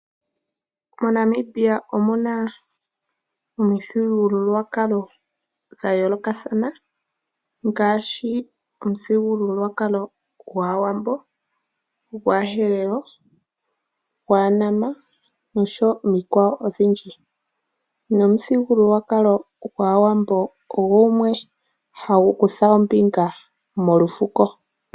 MoNamibia omu na omithigululwakalo dha yoolokathana ngaashi: omuthigululwakalo gwAawambo, gwAaherero, gwAanama nosho wo omikwawo odhindji. Nomuthigululwakalo gwAawambo ogo gumwe hagu kutha ombinga molufuko.